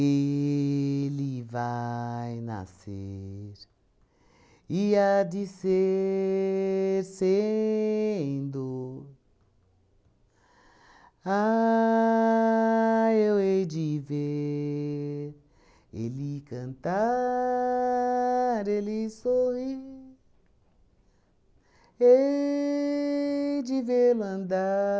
Ele vai nascer E há de ser sendo Ah, eu hei de ver Ele cantar, Ele sorrir Hei de vê-lo andar